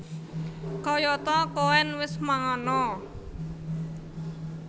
Kayata Koen wis mangan a